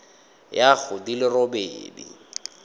ya go di le robedi